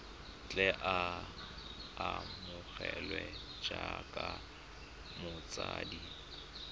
tle a amogelwe jaaka motshabi